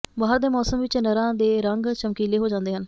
ਬਹਾਰ ਦੇ ਮੌਸਮ ਵਿੱਚ ਨਰਾਂ ਦੇ ਰੰਗ ਚਮਕੀਲੇ ਹੋ ਜਾਂਦੇ ਹਨ